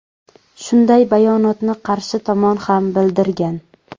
Shunday bayonotni qarshi tomon ham bildirgan.